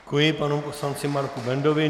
Děkuji panu poslanci Marku Bendovi.